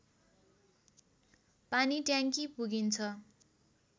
पानीट्याङ्की पुगिन्छ